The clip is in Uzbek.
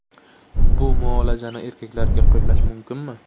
Bu muolajani erkaklarga qo‘llash mumkinmi?